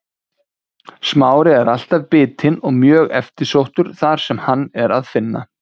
smári er alltaf bitinn og mjög eftirsóttur þar sem hann er að finna